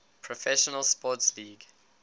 professional sports league